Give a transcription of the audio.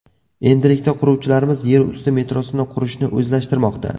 Endilikda quruvchilarimiz yer usti metrosini qurishni o‘zlashtirmoqda.